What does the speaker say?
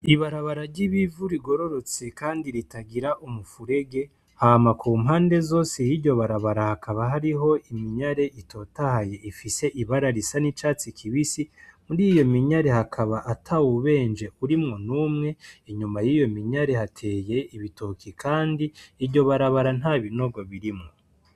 Ibarabara ry'ibivu rigororotse kandi ritagira umuferege hama kumpande zose y'iryo barabara hakaba hariho iminyari itotahaye ifise ibara risa n'icatsi kibisi, muriyo minyari hakaba atawubenje urimwo numwe, inyuma yiyo minyari hateye ibitoki kandi iryobarabara ntabinogo birimwo.